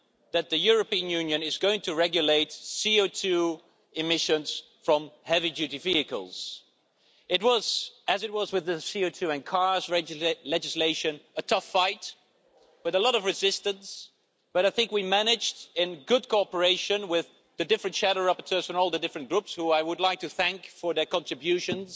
that the European Union is going to regulate CO2 emissions from heavy-duty vehicles. It was as it was with the CO2 and cars legislation a tough fight with a lot of resistance, but I think we managed, in good cooperation with the different shadow rapporteurs and all the different groups, whom I would like to thank for their contributions.